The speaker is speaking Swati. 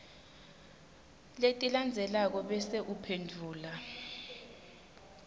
letilandzelako bese uphendvula